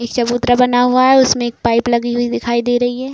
एक चबूतरा बना हुआ है | उसमें एक पाइप लगी हुई दिखाई दे रही है।